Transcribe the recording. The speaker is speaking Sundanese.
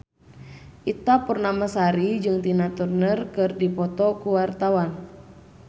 Ita Purnamasari jeung Tina Turner keur dipoto ku wartawan